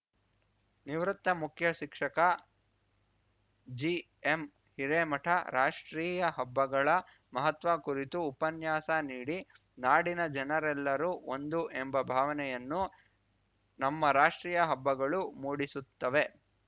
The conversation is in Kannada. ನಿವೃತ್ತ ಮುಖ್ಯ ಶಿಕ್ಷಕ ಜಿಎಂ ಹಿರೇಮಠ ರಾಷ್ಟ್ರೀಯ ಹಬ್ಬಗಳ ಮಹತ್ವ ಕುರಿತು ಉಪನ್ಯಾಸ ನೀಡಿ ನಾಡಿನ ಜನರೆಲ್ಲರೂ ಒಂದು ಎಂಬ ಭಾವನೆಯನ್ನು ನಮ್ಮ ರಾಷ್ಟ್ರೀಯ ಹಬ್ಬಗಳು ಮೂಡಿಸುತ್ತವೆ